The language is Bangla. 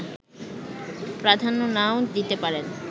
প্রাধান্য নাও দিতে পারেন